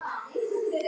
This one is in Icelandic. Þín Sara Rós.